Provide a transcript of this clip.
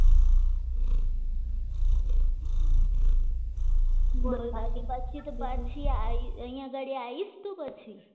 પાછી તો પાછી આવીશ તો પછી